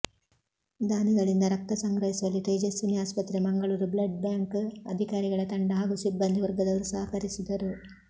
ದಾನಿಗಳಿಂದ ರಕ್ತ ಸಂಗ್ರಹಿಸುವಲ್ಲಿ ತೇಜಸ್ವಿನಿ ಆಸ್ಪತ್ರೆ ಮಂಗಳೂರು ಬ್ಲಡ್ ಬ್ಯಾಂಕ್ ಅಧಿಕಾರಿಗಳ ತಂಡ ಹಾಗೂ ಸಿಬ್ಬಂದಿ ವರ್ಗದವರು ಸಹಕರಿಸಿದರು